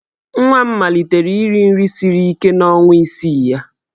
Nwa m malitere iri nri siri ike n'ọnwa isii ya.